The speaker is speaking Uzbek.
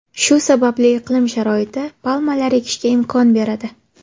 Shu sababli iqlim sharoiti palmalar ekishga imkon beradi.